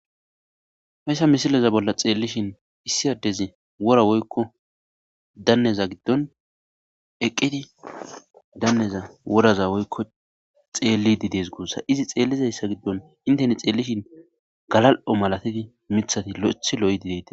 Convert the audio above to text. Heysa misileza bolla xeellishin issiyaddezi wora woykko danneza giddon eqqidi danneza woraza woykko xeellididees guussa izi xeellizayssa giddon inteni xeellishin galal'o malatidi mithati lo'eth lo'idideti.